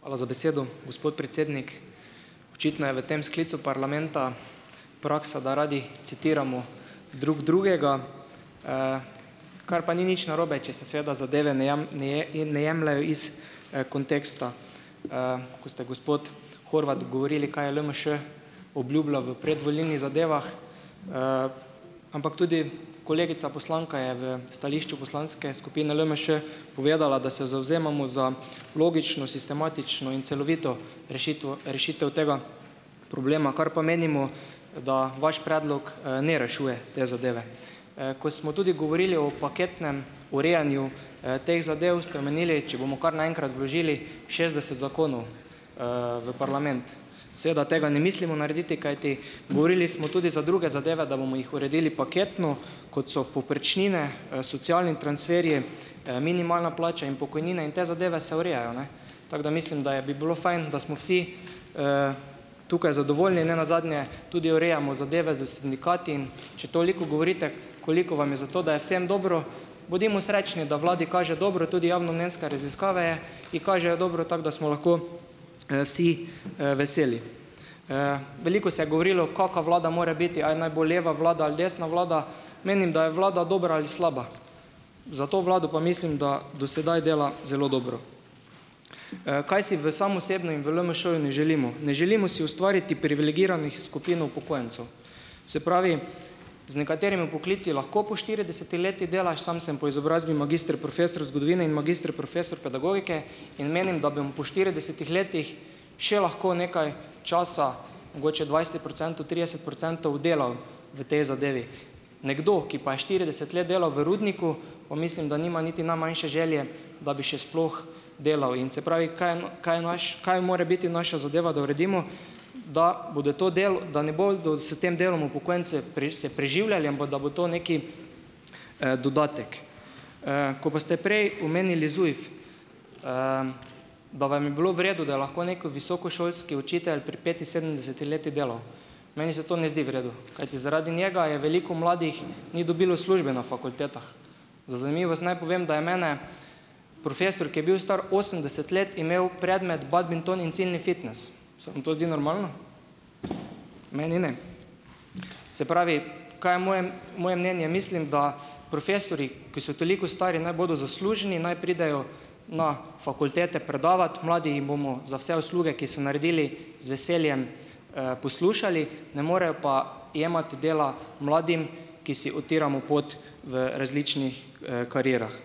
Hvala za besedo, gospod predsednik. Očitno je v tem sklicu parlamenta praksa, da radi citiramo drug drugega. Kar pa ni nič narobe, če se seveda zadeve ne ne ne jemljejo iz, konteksta. Ko ste, gospod Horvat, govorili, kaj je LMŠ obljubljal v predvolilnih zadevah, ampak tudi kolegica poslanka je v stališču poslanske skupine LMŠ povedala, da se zavzemamo za logično, sistematično in celovito rešitvo rešitev tega problema, kar pa menimo, da vaš predlog, ne rešuje te zadeve. Ko smo tudi govorili o paketnem urejanju, teh zadev, ste omenili, če bomo kar naenkrat vložili šestdeset zakonov, v parlament. Seveda tega ne mislimo narediti, kajti govorili smo tudi za druge zadeve, da bomo jih uredili paketno, kot so povprečnine, socialni transferji, minimalna plača in pokojnine in te zadeve se urejajo, ne. Tako da mislim, da je bi bilo fajn, da smo vsi tukaj zadovoljni. Nenazadnje tudi urejamo zadeve s sindikati, in če toliko govorite, koliko vam je za to, da je vsem dobro - bodimo srečni, da vladi kaže dobro, tudi javnomnenjske raziskave je ji kažejo dobro, tako da smo lahko, vsi, veseli. Veliko se je govorilo, kaka vlada more biti, ali naj bo leva vlada ali desna vlada. Menim, da je vlada dobra ali slaba. Za to vlado pa mislim, da do sedaj dela zelo dobro. kaj si v sam osebno in v LMŠ-ju ne želimo? Ne želimo si ustvariti privilegiranih skupin upokojencev. Se pravi, z nekaterimi poklici lahko po štiridesetih letih delaš - sam sem po izobrazbi magister profesor zgodovine in magister profesor pedagogike in menim, da bom po štiridesetih letih še lahko nekaj časa, mogoče dvajset procentov, trideset procentov delal v tej zadevi. Nekdo, ki pa je štirideset let delal v rudniku, pa mislim, da nima niti najmanjše želje, da bi še sploh delal. In se pravi, kaj je kaj je naš - kaj more biti naša zadeva, da uredimo - da bodo to da ne bodo se tem delom upokojenci se preživljali, ampak da bo to neki, dodatek. Ko pa ste prej omenili ZUJF. Da vam je bilo v redu, da lahko neki visokošolski učitelj pri petinsedemdesetih letih delal. Meni se to ne zdi v redu. Kajti zaradi njega je veliko mladih - ni dobilo službe na fakultetah. Za zanimivost naj povem, da je mene profesor, ki je bil star osemdeset let, imel predmet Badminton in ciljni fitnes. Se vam to zdi normalno? Meni ne. Se pravi, kaj je moje moje mnenje? Mislim, da profesorji, ki so toliko stari, naj bodo zaslužni, naj pridejo na fakultete predavat, mladi jim bomo za vse usluge, ki so naredili, z veseljem, poslušali, ne morejo pa jemati dela mladim, ki si utiramo pot v različnih, karierah.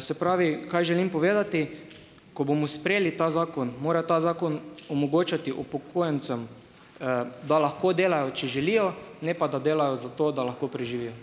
Se pravi, kaj želim povedati. Ko bomo sprejeli ta zakon, mora ta zakon omogočati upokojencem, da lahko delajo, če želijo, ne pa da delajo zato, da lahko preživijo.